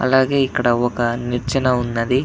అలాగే ఇక్కడ ఒక నిచ్చెన ఉన్నది.